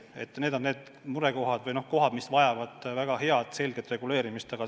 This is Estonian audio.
Need on need murekohad või probleemid, mis vajavad väga head ja selget reguleerimist.